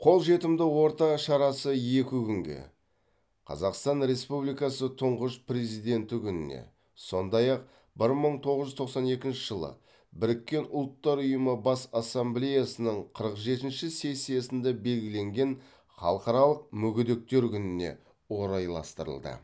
қолжетімді орта шарасы екі күнге қазақстан республикасы тұңғыш президенті күніне сондай ақ бір мың тоғыз жүз тоқсан екінші жылы біріккен ұлттар ұйымының бас ассамблеясының қырық жетінші сессиясында белгіленген халықаралық мүгедектер күніне орайластырылды